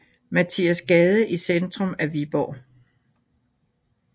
Mathias Gade i centrum af Viborg